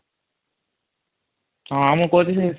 ହଁ ମୁ କହୁଛି ସେଇ